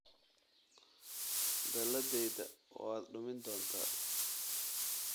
Dalladayda waad dumin doontaa